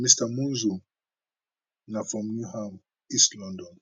mr monzo na from newham east london